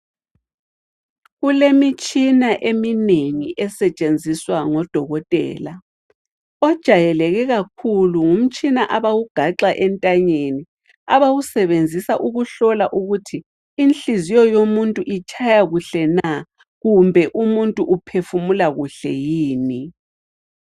Kulemitshina eminengi esetshenziswa ngodokotela, ojayeleke kakhulu ngumtshina abawugaxa entanyeni, abawusebenzisa ukuhlola ukuthi inhliziyo yomuntu itshaya kuhle na kumbe umuntu uphefumula kuhle yini.